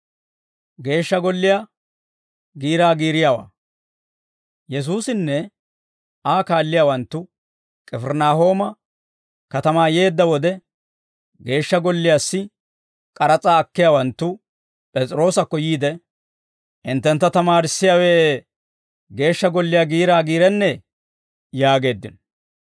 Yesuusinne Aa kaalliyaawanttu K'ifirinaahooma katamaa yeedda wode, Geeshsha Golliyaassi k'aras'aa akkiyaawanttu P'es'iroosakko yiide, «Hinttentta tamaarissiyaawe Geeshsha Golliyaa giiraa giirennee?» yaageeddino.